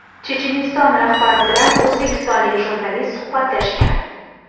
Checheniston rahbari bilan o‘zbekistonlik jurnalist suhbatlashgan.